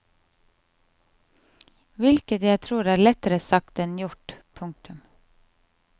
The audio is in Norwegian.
Hvilket jeg tror er lettere sagt enn gjort. punktum